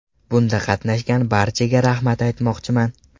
Bunda qatnashgan barchaga rahmat aytmoqchiman.